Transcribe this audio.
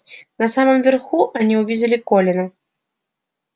на самом верху они увидели колина